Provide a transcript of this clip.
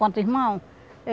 Quanto irmão?